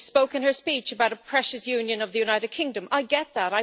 When she spoke in her speech about a precious union of the United Kingdom, I get that.